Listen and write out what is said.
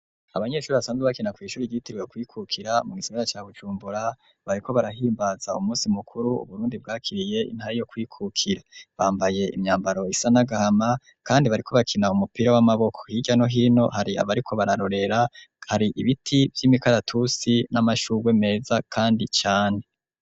Abanyeshure basanzwe bakina kw'ishuri ryisumbuye ryitirwe ukwikukira mu gisagara ca Bujumbura, bariko barahimbaza umusi mukuru wahariwe ukwikukira, bambaye imyambaro isa n'agahama kandi bariko bakina umupira w'amaboko, hirya no hino har'abariko bararorera, har'ibiti vy'imikaratusi, n'amashurwe meza kandi cane.